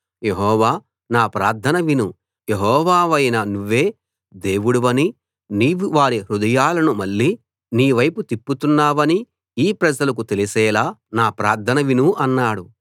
యెహోవా నా ప్రార్థన విను యెహోవావైన నువ్వే దేవుడవనీ నీవు వారి హృదయాలను మళ్ళీ నీ వైపు తిప్పుతున్నావనీ ఈ ప్రజలకు తెలిసేలా నా ప్రార్థన విను అన్నాడు